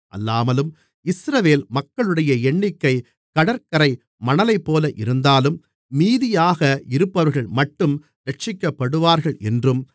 அல்லாமலும் இஸ்ரவேல் மக்களுடைய எண்ணிக்கை கடற்கரை மணலைப்போல இருந்தாலும் மீதியாக இருப்பவர்கள்மட்டும் இரட்சிக்கப்படுவார்கள் என்றும்